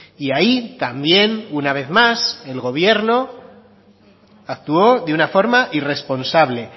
y ahí también una vez más el gobierno actuó de una forma irresponsable